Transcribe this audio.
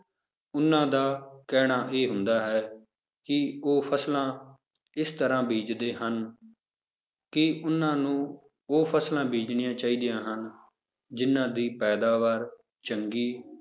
ਉਹਨਾਂ ਦਾ ਕਹਿਣਾ ਇਹ ਹੁੰਦਾ ਹੈ ਕਿ ਉਹ ਫਸਲਾਂ ਇਸ ਤਰ੍ਹਾਂ ਬੀਜ਼ਦੇ ਹਨ ਕਿ ਉਹਨਾਂ ਨੂੰ ਉਹ ਫਸਲਾਂ ਬੀਜ਼ਣੀਆਂ ਚਾਹੀਦੀਆਂ ਹਨ, ਜਿੰਨਾਂ ਦੀ ਪੈਦਾਵਾਰ ਚੰਗੀ